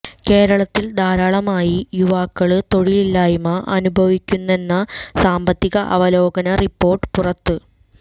കേരളത്തിൽ ധാരാളമായി യുവാക്കള് തൊഴിലില്ലായ്മ അനുഭവിക്കുന്നെന്ന സാമ്പത്തിക അവലോകന റിപ്പോര്ട്ട് പുറത്ത്